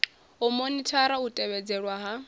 u monithara u tevhedzelwa ha